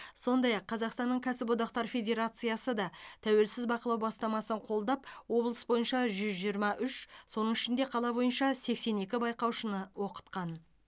сондай ақ қазақстанның кәсіподақтар федерациясы да тәуелсіз бақылау бастамасын қолдап облыс бойынша жүз жиырма үш соның ішінде қала бойынша сексен екі байқаушыны оқытқан